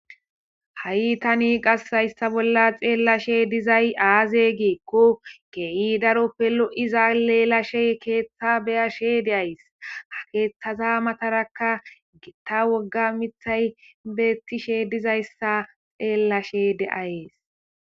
ha7i tani qas hayssa bolla xeellashe dizay aaze giikko kee7i daroppelo7iza leelashe keeththa beyashe deays ha keeththaza matarakka gitta wogga mithay beettishe dizayssa xeellashe deayes